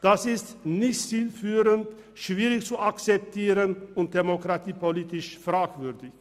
Das ist nicht zielführend, schwierig zu akzeptieren und demokratiepolitisch fragwürdig.